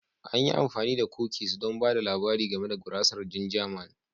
An yi amfani da kukis don ba da labari game da gurasar ginger Man